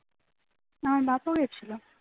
আমার বাপ ও গেছিল